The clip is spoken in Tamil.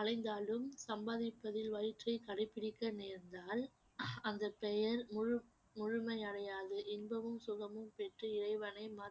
அலைந்தாலும் சம்பாதிப்பதில் வயிற்றைக் கடைப் பிடிக்க நேர்ந்தவள் அந்த பெயர் முழு~ முழுமையடையாது இன்பமும் சுகமும் பெற்று இறைவனை வ~